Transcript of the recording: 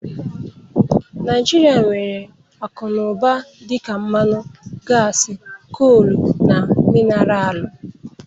Naijiria nwere akụ na ụba dị ka mmanụ, gasi, colu na minaralu.